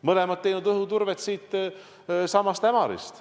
Mõlemad on teinud õhuturvet siitsamast Ämarist.